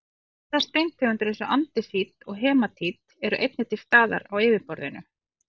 aðrar steintegundir eins og andesít og hematít eru einnig til staðar á yfirborðinu